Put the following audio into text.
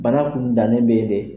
Bana kun bannen be de